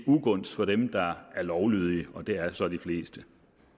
ugunst for dem der er lovlydige og det er så de fleste